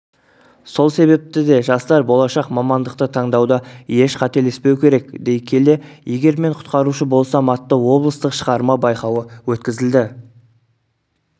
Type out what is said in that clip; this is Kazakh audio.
сол себепті де жастар болашақ мамандықты таңдауда еш қателеспеу керек дей келе егер мен құтқарушы болсам атты облыстық шығарма байқауы өткізілді